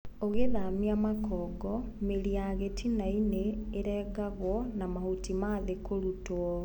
ũgithamia makongo ,mĩri ya gĩtinainĩ ĩrengagwo na mahuti mathĩ kũrutwo.